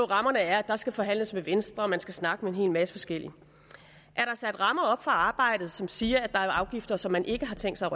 rammerne er at der skal forhandles med venstre og man skal snakke med en hel masse forskellige er der sat rammer op for arbejdet som siger at der er afgifter som man ikke har tænkt sig